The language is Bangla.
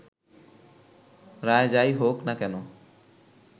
রায় যাই হোক না কেন